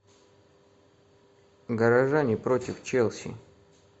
горожане против челси